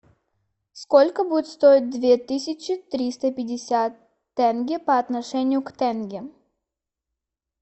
сколько будет стоить две тысячи триста пятьдесят тенге по отношению к тенге